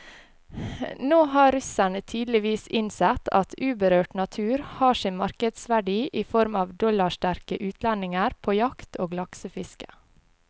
Nå har russerne tydeligvis innsett at uberørt natur har sin markedsverdi i form av dollarsterke utlendinger på jakt og laksefiske.